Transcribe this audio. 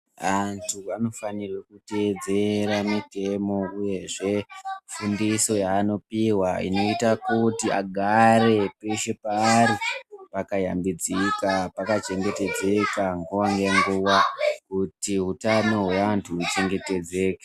Antu anofanira kutedzera mitemo uyezve simbiso yanopihwa inoita kuti agare peshe paari akayambidzika pakachengetedzeka nguwa ngenguwa kuti hutano hwevantu uchengetedzeke.